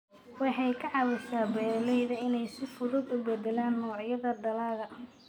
Waxay ka caawisaa beeralayda inay si fudud u beddelaan noocyada dalagga.